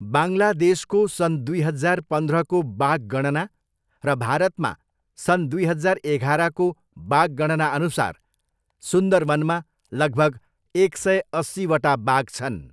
बाङ्लादेशको सन् दुई हजार पन्ध्रको बाघ गणना र भारतमा सन् दुई हजार एघारको बाघ गणनाअनुसार सुन्दरवनमा लगभग एक सय अस्सीवटा बाघ छन्।